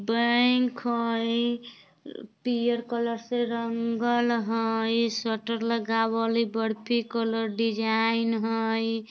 बैंक हई पीआर कलर से रंगल हइ शटर लगावल ए बर्फी कलर डिजाईन हइ।